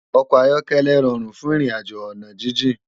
Òkò áyòkèlè ròrún fún irinàjó òná jijin